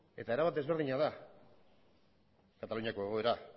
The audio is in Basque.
eta erabat desberdina da kataluniako egoera